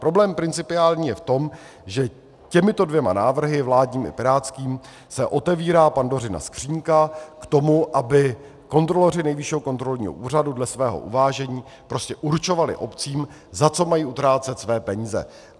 Problém principiální je v tom, že těmito dvěma návrhy, vládním i pirátským, se otevírá Pandořina skříňka k tomu, aby kontroloři Nejvyššího kontrolního úřadu dle svého uvážení prostě určovali obcím, za co mají utrácet své peníze.